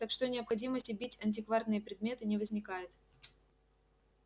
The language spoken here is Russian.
так что необходимости бить антикварные предметы не возникает